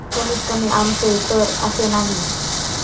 कमीतकमी आमचे तर असे नाही.